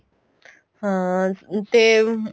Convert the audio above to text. ਹਾਂ ਤੇ